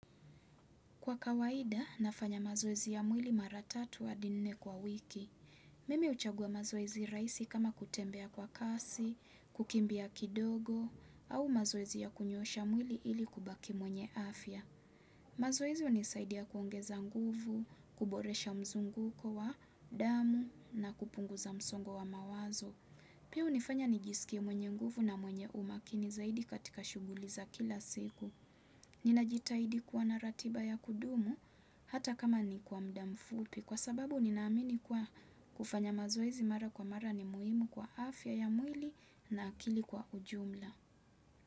Kwa kawaida, nafanya mazoezi ya mwili mara tatu hadi nne kwa wiki. Mimi huchagua mazoezi rahisi kama kutembea kwa kasi, kukimbia kidogo, au mazoezi ya kunyoosha mwili ili kubaki mwenye afya. Mazoezi unisaidia kuongeza nguvu, kuboresha mzunguko wa damu na kupunguza msongo wa mawazo. Pia hunifanya nijisikie mwenye nguvu na mwenye umakini zaidi katika shuguli za kila siku. Nina jitaidi kuwa na ratiba ya kudumu hata kama ni kwa mda mfupi kwa sababu ninaamini kuwa kufanya mazoezi mara kwa mara ni muhimu kwa afya ya mwili na akili kwa ujumla.